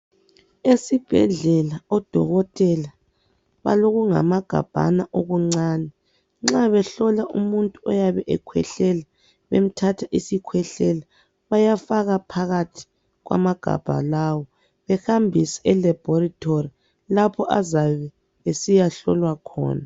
Esibhedlela odokotela balokungamagabhana okuncane nxa behlola umuntu oyabe ekhwehlela bemthatha isikhwehlela bayafaka phakathi kwamagabha lawa behambise e laboratory lapho okuyahlolwa khona